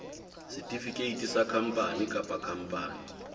setefikeiti sa khampani kapa khampani